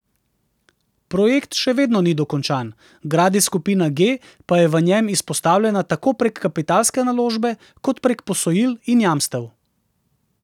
Projekt še vedno ni dokončan, Gradis Skupina G pa je v njem izpostavljena tako prek kapitalske naložbe kot prek posojil in jamstev.